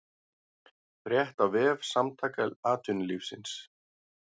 Frétt á vef Samtaka atvinnulífsins